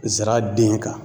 Zira den kan.